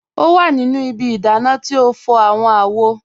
O wa nínu ìbí ìdánà tí n fọ̀ awọn àwò.